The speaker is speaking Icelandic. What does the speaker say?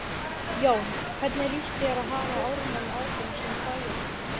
Jón: Hvernig líst þér á að hafa Ármann áfram sem bæjarstjóra?